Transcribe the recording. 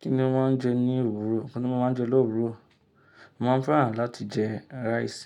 Kí ni mo máa ń jẹ ní òwúrò? Kí ni mo máa ń jẹ l'òwúrò? Mo máa ń fẹ́ràn láti jẹ rice.